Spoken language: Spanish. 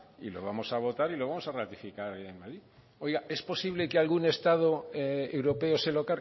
y lo vamos a votar y lo vamos a ratificar allí oiga es posible que algún estado europeo se lo